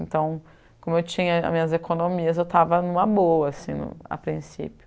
Então, como eu tinha minhas economias, eu estava numa boa assim, a princípio.